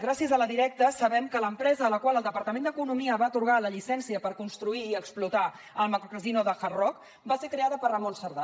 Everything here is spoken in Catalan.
gràcies a la directa sabem que l’empresa a la qual el departament d’economia va atorgar la llicència per construir i explotar el casino de hard rock va ser creada per ramon cerdá